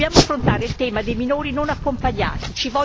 Dobbiamo affrontare il tema dei minori non accompagnati